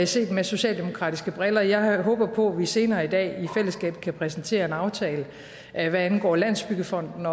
set med socialdemokratiske briller jeg håber på at vi senere i dag i fællesskab kan præsentere en aftale hvad angår landsbyggefonden